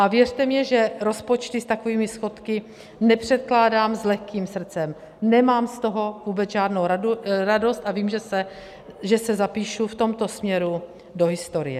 A věřte mi, že rozpočty s takovými schodky nepředkládám s lehkým srdcem, nemám z toho vůbec žádnou radost a vím, že se zapíšu v tomto směru do historie.